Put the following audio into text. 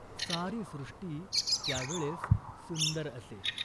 सारी सृष्टी त्या वेळेस सुंदर असे.